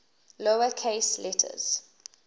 lower case letters